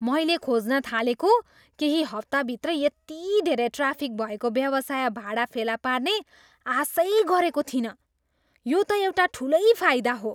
मैले खोज्न थालेको केही हप्ताभित्रै यति धेरै ट्राफिक भएको व्यवसाय भाडा फेला पार्ने आशै गरेको थिइनँ, यो त एउटा ठुलै फाइदा हो।